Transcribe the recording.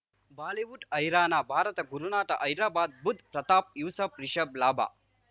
Bollywood ಹೈರಾಣ ಭಾರತ ಗುರುನಾಥ ಹೈದರಾಬಾದ್ ಬುಧ್ ಪ್ರತಾಪ್ ಯೂಸಫ್ ರಿಷಬ್ ಲಾಭ